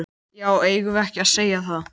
Já, eigum við ekki að segja það?